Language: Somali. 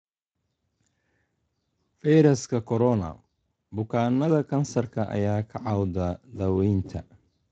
Fayraska Corona: Bukaannada kansarka ayaa ka cawda daawaynta